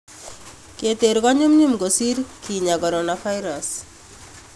Keteer ko nyumnyum kosir kiinya coronavirus